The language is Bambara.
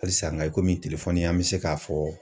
Halisa nka i komi an bɛ se k'a fɔ.